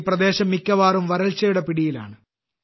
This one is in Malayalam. ഈ പ്രദേശം മിക്കവാറും വരൾച്ചയുടെ പിടിയിലാണ്